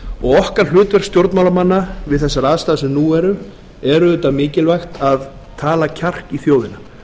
og okkar hlutverk stjórnmálamanna við þessar aðstæður sem nú er auðvitað mikilvægt að tala kjark í þjóðina